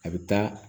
A bɛ taa